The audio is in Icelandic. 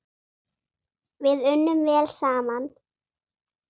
Við unnum vel saman.